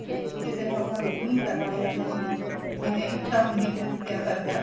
ਕਿਸੇ ਨੂੰ ਆਪਾਂ ਰੋਕ ਨੀਂ ਸਕਦੇ ਅਗਲੇ ਦੀ ਜਿਵੇਂ ਇੱਛਾ ਹੁੰਦੀ ਕੋਈ ਪਿਆ ਕਰਦਾ